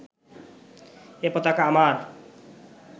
এ পতাকা আমার